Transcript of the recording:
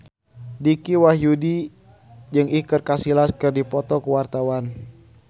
Dicky Wahyudi jeung Iker Casillas keur dipoto ku wartawan